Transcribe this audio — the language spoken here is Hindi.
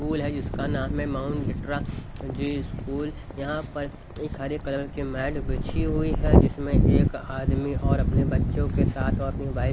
स्कूल है जिसका नाम है माउंट लिट्रा ज़ी स्कूल यहां पर एक हरे कलर की मैट बिछी हुई है जिसमें एक आदमी और अपने बच्चों के साथ और अपनी वाइफ --